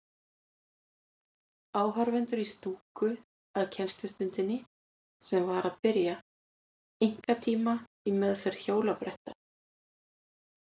Áhorfendur í stúku að kennslustundinni sem var að byrja, einkatíma í meðferð hjólabretta.